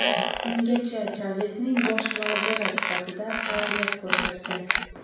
Ungacha Chavesning bosh vaziri sifatida faoliyat ko‘rsatgan.